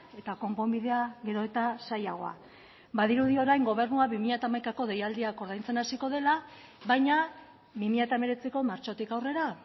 eta konponbidea gero eta zailagoa badirudi orain gobernua bi mila hamaikako deialdiak ordaintzen hasiko dela baina bi mila hemeretziko martxotik aurrera